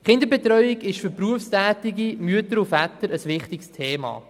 Die Kinderbetreuung ist für berufstätige Mütter und Väter ein wichtiges Thema.